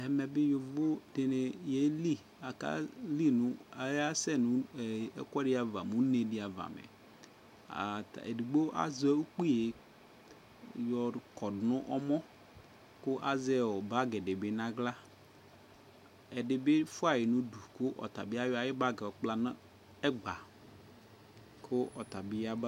Ɛmɛ bi yovo di ni yɛli, akeli nʋ, ayasɛ nʋ ɛ ɛkuɛdi ava, une di ava mɛ Ɛdigbo azɛ ukpi yɔkɔ nʋ ɛmɔ kʋ azɛ bagi di bi n'aɣla Ɛdi bi fua yi n'ʋdʋ kʋ ɔtabi ayɔ ayu bagi kpla nɛgba kʋ ɔtabi yaba